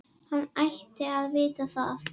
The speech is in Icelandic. Hann ætti að vita það.